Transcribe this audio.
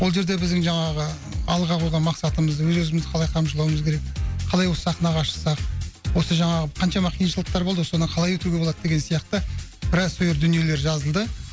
ол жерде біздің жаңағы алдыға қойған мақсатымыз өз өзімізді қалай қамшылауымыз керек қалай осы сахнаға шықсақ осы жаңағы қаншама қиыншылықтар болды ғой содан қалай өтуге болады деген сияқты біраз дүниелер жазылды